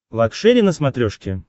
лакшери на смотрешке